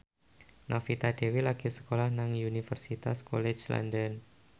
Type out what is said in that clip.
Novita Dewi lagi sekolah nang Universitas College London